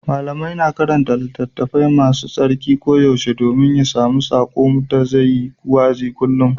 Limamai na karanta Littafi Mai Tsarki koyaushe domin ya sami saƙo da zai yi wa'azi kullum.